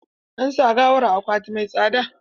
An sa gawar a akwati mai tsada.